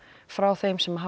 frá þeim sem hafa